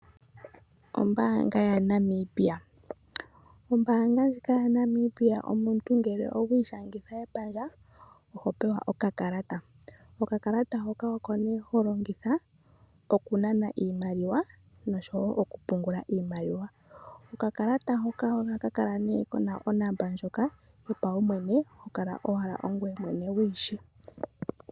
Ombaanga ya Namibia. Ombaanga ndjika ya Namibia omuntu ngele owa ishangitha epandja oho pewa okakalata. Okakalata hoka oko nee ho longitha okunana iimaliwa, noshowo okupungula iimaliwa. Okakalata hoka ohaka kala nee kuna onomola ndjoka yopaumwene hokala owala ongoye mwene wuyi shi.